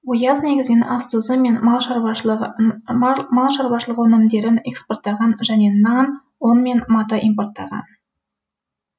ояз негізінен ас тұзы мен мал шаруашылығы өнімдерін экспорттаған және нан ұн мен мата импорттаған